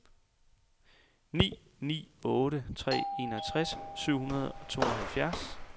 ni ni otte tre enogtres syv hundrede og tooghalvfjerds